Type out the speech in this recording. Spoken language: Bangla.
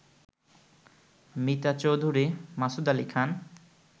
মিতা চৌধুরী, মাসুদ আলী খান